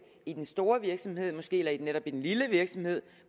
i den store virksomhed eller måske netop i den lille virksomhed